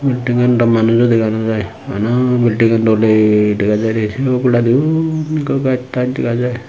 bidingan daw manujo dega no jai bana bidingan dole dega jaide sey oboladi undi ikko gaaj raaj dega jai.